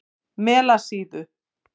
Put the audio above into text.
Melasíðu